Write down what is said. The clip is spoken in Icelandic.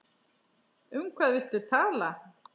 Um hvað viltu tala?